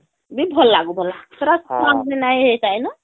ବି ଭଲ ଲାଗୁ ବୋଲା ଛୁଆ ..ବି ନାଇଁ ହେଇଥାଇ ନ